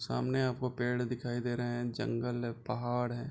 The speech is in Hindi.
सामने आपको पेड़ दिखाई दे रहे हैं जंगल है पहाड़ है।